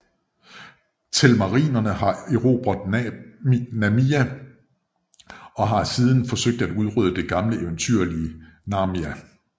Telmarinerne har erobret Narnia og har siden forsøgt at udrydde det gamle eventyrlige Narnia